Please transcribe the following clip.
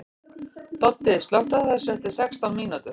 Doddi, slökktu á þessu eftir sextán mínútur.